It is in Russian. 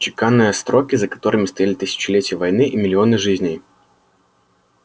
чеканные строки за которыми стояли тысячелетия войны и миллионы жизней